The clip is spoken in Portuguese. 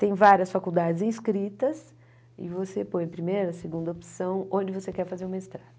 Tem várias faculdades inscritas, e você põe a primeira, a segunda opção, onde você quer fazer o mestrado.